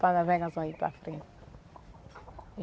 Para navegar só aí para frente.